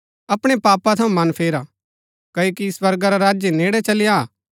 अपणै पापा थऊँ मन फेरा क्ओकि स्वर्गा रा राज्य नेड़ै चली आ